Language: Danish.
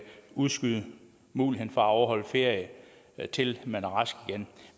udskyde muligheden for at afholde ferie til man er rask igen